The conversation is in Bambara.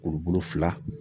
Kurubolo fila